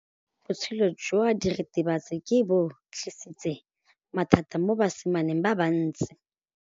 Botshelo jwa diritibatsi ke bo tlisitse mathata mo basimaneng ba bantsi.